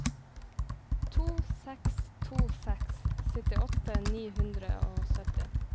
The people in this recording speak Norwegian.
to seks to seks syttiåtte ni hundre og sytti